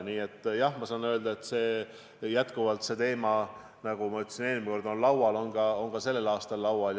Nii et ma saan öelda nii, nagu ma ütlesin ka eelmine kord, et see teema on endiselt laual ka sellel aastal laual.